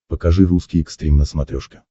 покажи русский экстрим на смотрешке